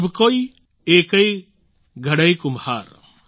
સભ કૌ એકૈ ઘડૈ કુમ્હાર